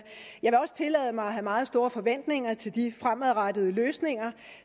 have meget store forventninger til de fremadrettede løsninger